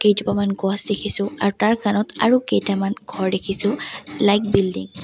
কেইজোপামান গছ দেখিছোঁ আৰু তাৰ কাণত আৰু কেইটামান ঘৰ দেখিছোঁ লাইট বিল্ডিং --